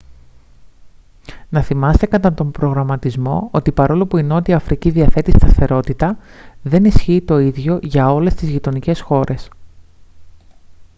να θυμάστε κατά τον προγραμματισμό ότι παρόλο που η νότια αφρική διαθέτει σταθερότητα δεν ισχύει το ίδιο για όλες τις γειτονικές χώρες